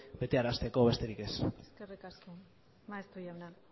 betearazteko besterik ez eskerik asko maeztu jauna